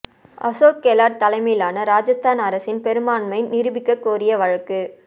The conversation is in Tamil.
அசோக் கெலாட் தலைமையிலான ராஜஸ்தான் அரசின் பெரும்பான்மை நிரூபிக்க கோரிய வழக்கு